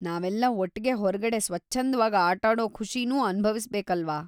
ನಾವೆಲ್ಲ ಒಟ್ಗೆ ಹೊರ್ಗಡೆ ಸ್ವಚ್ಛಂದ್ವಾಗಿ ಆಟಾಡೋ ಖುಷಿನೂ ಅನುಭವಿಸ್ಬೇಕಲ್ವಾ?